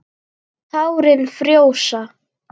Tárin frjósa.